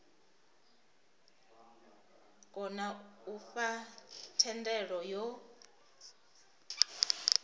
kona u fha thendelo yo